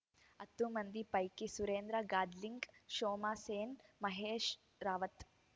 ಹತ್ತು ಮಂದಿ ಪೈಕಿ ಸುರೇಂದ್ರ ಗಾದ್ಲಿಂಗ್‌ ಶೋಮಾ ಸೇನ್‌ ಮಹೇಶ್‌ ರಾವತ್‌